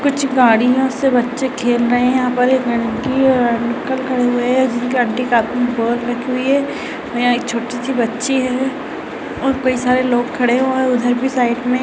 कुछ गाड़ियों से बच्चे खेल रहे हैं यहाँ पर एक आंटी और अंकल खड़े हुऐ हैं जिनके आंटी के हाथ में एक बॉल रखी हुई है और यहाँ पर एक छोटी सी बच्ची है और कई सारे लोग खड़े हुऐ हैं उधर भी साइड में --